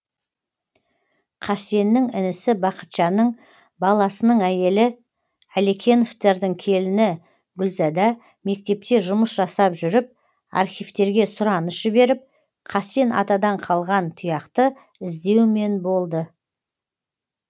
қасеннің інісі бақытжанның баласының әйелі әлекеновтердің келіні гүлзада мектепте жұмыс жасап жүріп архивтерге сұраныс жіберіп қасен атадан қалған тұяқты іздеумен болды